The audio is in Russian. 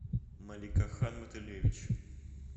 маликахан матылевич